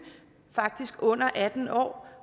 faktisk under atten år